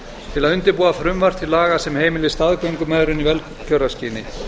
til að undirbúa frumvarp til laga sem heimili staðgöngumæðrun í velgjörðarskyni